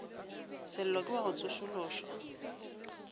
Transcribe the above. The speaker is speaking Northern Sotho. sello ke wa go tsošološa